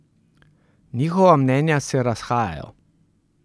Njihova mnenja se razhajajo.